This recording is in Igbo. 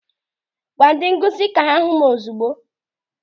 Gwa ndị nkụzi ka ha hụ m ozigbo!